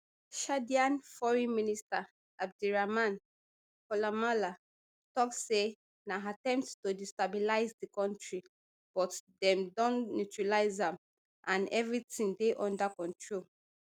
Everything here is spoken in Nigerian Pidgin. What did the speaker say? chadian foreign minister abderaman koulamallah tok say na attempt to destabilize di kontri but dem don neutralise am and evri tin dey under control